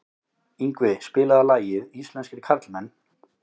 Yngvi, spilaðu lagið „Íslenskir karlmenn“.